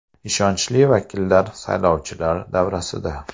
Ishonchli vakillar saylovchilar davrasida.